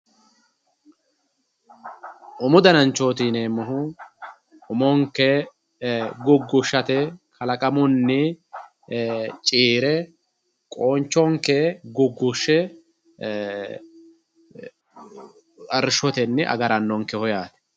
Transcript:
umu dananchooti yineemmohu umonke guggushshate kalaqamunni ciire qoonchonke guggushshe arrishotenni agarannonkeho yaate.